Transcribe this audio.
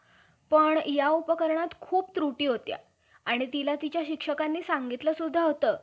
तो चार दिवस सोवळा होऊन बसत होता. किंवा लिंगाईत~ लिंगाइतिनि सारखा राग लावून, पाक होऊन घरातील कामकाज करीत होता. या,